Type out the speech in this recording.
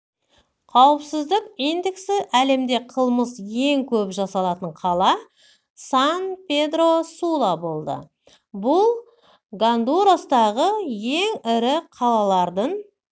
қауіпсіздік индексі әлемде қылмыс ең көп жасалатын қала сан-педро-сула болды бұл гондурастағы ең ірі қалалардың